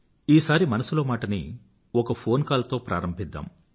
ఈసారి మనసులో మాట ని ఒక ఫోన్ కాల్ తో ప్రారంభిద్దాం